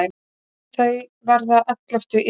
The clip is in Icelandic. Þau verða elleftu í röðinni.